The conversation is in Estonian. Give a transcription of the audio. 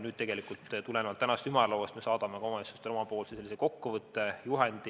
Nüüd, tulenevalt tänasest ümarlauast me saadame omavalitsustele oma kokkuvõtte või juhendi.